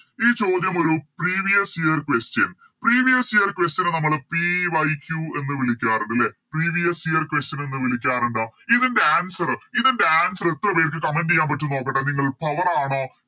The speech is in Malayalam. ഈ ചോദ്യം ഒരു Previous year question previous year question നെ നമ്മള് PYQ എന്ന് വിളിക്കാറുണ്ട് ലെ Previous year question എന്ന് വിളിക്കാറുണ്ടോ ഇതിൻറെ Answer ഇതിൻറെ Answer എത്ര പേർക്ക് Comment ചെയ്യാൻ പറ്റുംന്ന് നോക്കട്ടെ നിങ്ങൾ Power ആണോ